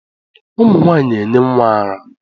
Ụmụ nwaanyị na-enye nwa ara.